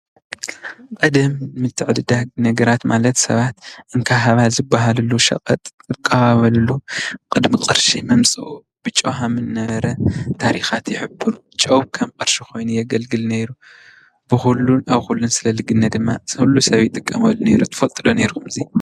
ቀደም ምትዕደዳግ ነገራት ማለት ስባት እንካ ሃባ ዝባህሉሉ ሽቀጥ ዝቀባበሉሉ ቅድሚ ቅርሺ ምምፅኡ ብጨው ከም ዝነበረ ታሪካት ይሕብሩ። ጨው ከም ቅርሺ ኮይኑ የግልግል ነይሩ ብኩሉን አብ ኩሉን ሰለ ዝግነይ ድማ ኩሉ ስብ ይጥቀመሉ ነይሩ። ትፈልጡ ዶ ነይርኩም እዚ?